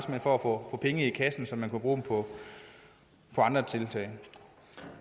for at få penge i kassen så man kunne bruge dem på andre tiltag